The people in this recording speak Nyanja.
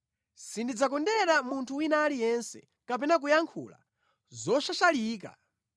Sindidzakondera munthu wina aliyense, kapena kuyankhula zoshashalika,